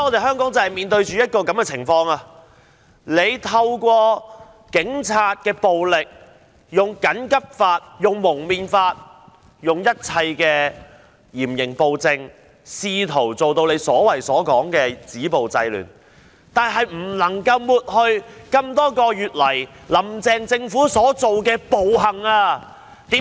香港現在面對的正是這種情況，當局透過警察暴力、《緊急情況規例條例》、《禁止蒙面規例》，以及一切嚴刑暴政，試圖造成所謂的"止暴制亂"，但仍不能抹去多月以來"林鄭"政府所做的暴行。